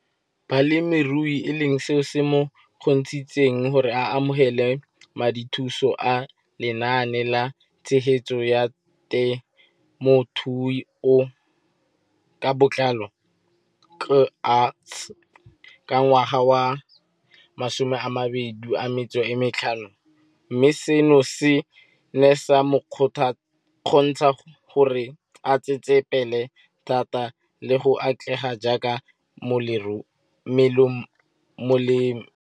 Balemirui e leng seo se mo kgontshitseng gore a amogele madithuso a Lenaane la Tshegetso ya Te mothuo ka Botlalo, CASP] ka ngwaga wa 2015, mme seno se ne sa mo kgontsha gore a tsetsepele thata le go atlega jaaka molemirui.